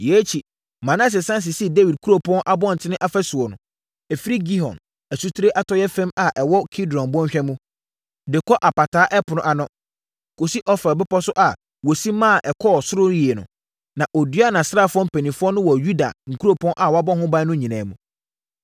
Yei akyi, Manase sane sisii Dawid kuropɔn abɔntene afasuo; ɛfiri Gihon asutire atɔeɛ fam a ɛwɔ Kidron bɔnhwa mu, de kɔ Apataa Ɛpono ano, kɔsi Ofel bepɔ so a wɔsi maa ɛkɔɔ soro yie no. Na ɔduaa nʼasraafoɔ mpanimfoɔ no wɔ Yuda nkuropɔn a wɔabɔ ho ban no nyinaa mu.